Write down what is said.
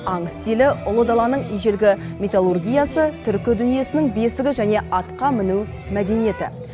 аң стилі ұлы даланың ежелгі металлургиясы түркі дүниесінің бесігі және атқа міну мәдениеті